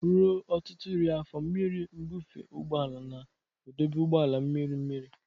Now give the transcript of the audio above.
Ruo ọtụtụ iri afọ, mmiri nbufe ụgbọ ala na-edobe ụgbọ ala mmiri mmiri.